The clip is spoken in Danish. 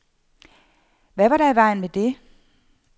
Hvad var der i vejen med det?